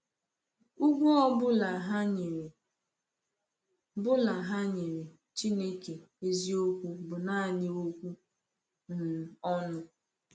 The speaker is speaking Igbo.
Ugwu ọ bụla ha nyere bụla ha nyere Chineke eziokwu bụ naanị okwu um ọnụ.